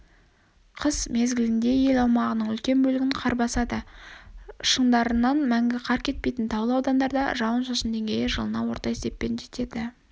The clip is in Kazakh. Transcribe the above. қыс мезгілінде ел аумағының үлкен бөлігін қар басады шындарынан мәңгі қар кетпейтін таулы аудандарда жауын-шашынның деңгейі жылына орта есеппен жетеді